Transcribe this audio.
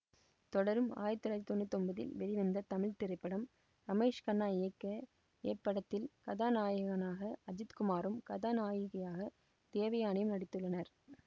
தொடரும் ஆயிரத்தி தொள்ளாயிரத்தி தொன்னூற்தி ஒன்பதில் வெளிவந்த தமிழ் திரைப்படம் ரமேஷ் கண்ணா இயக்க இப்படத்தில் கதாநாயகனாக அஜித் குமாரும் கதாநாயகியாக தேவயானியும் நடித்துள்ளனர்